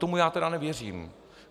Tomu já tedy nevěřím.